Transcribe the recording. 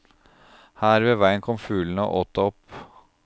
Her ved veien kom fuglene og åt det opp.